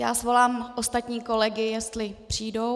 Já svolám ostatní kolegy, jestli přijdou.